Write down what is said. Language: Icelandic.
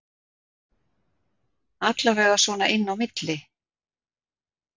Allavega svona inni á milli